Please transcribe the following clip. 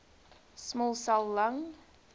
small cell lung